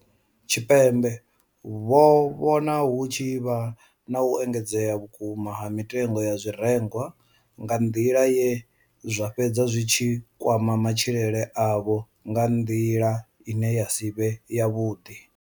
Tshipembe vho vhona hu tshi vha na u engedzea vhukuma ha mitengo ya zwirengwa nga nḓila ye zwa fhedza zwi tshi kwama matshilele avho nga nḓila ine ya si vhe yavhuḓi.